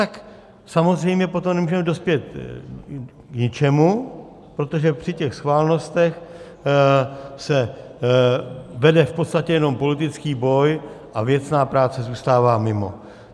Tak samozřejmě potom nemůžeme dospět k ničemu, protože při těch schválnostech se vede v podstatě jenom politický boj a věcná práce zůstává mimo.